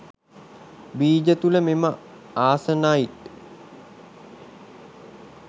බීජ තුළ මෙම ආසනයිට්